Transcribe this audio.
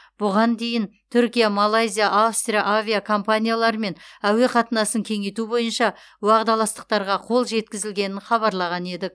бұған дейін түркия малайзия австрия авиакомпанияларымен әуе қатынасын кеңейту бойынша уағдаластықтарға қол жеткізілгенін хабарлаған едік